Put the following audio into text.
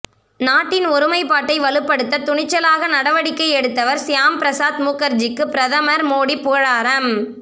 நாட்டின் ஒருமைப்பாட்டை வலுப்படுத்த துணிச்சலாக நடவடிக்கை எடுத்தவர் சியாம் பிரசாத் முகர்ஜிக்கு பிரதமர் மோடி புகழாரம்